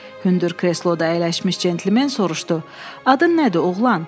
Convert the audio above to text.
Hündür kresloda əyləşmiş cəntlmen soruşdu: Adın nədir, Oğlan?